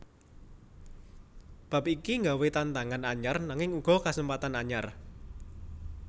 Bab iki nggawé tantangan anyar nanging uga kasempatan anyar